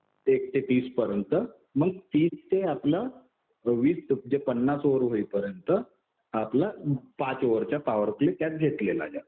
एक ते तीस पर्यंत. मग तीस ते आपलं वीस म्हणजे पन्नास ओव्हर होईपर्यंत आपलं पाच ओव्हरचा पॉवर प्ले त्यात घेतलेला जातो.